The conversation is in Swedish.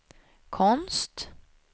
konst